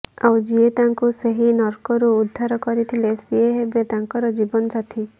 ଆଉ ଯିଏ ତାଙ୍କୁ ସେହି ନର୍କରୁ ଉଦ୍ଧାର କରିଥିଲେ ସିଏ ହେବେ ତାଙ୍କର ଜୀବନ ସାଥି